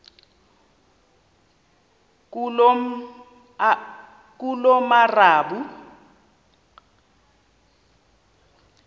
ngulomarabu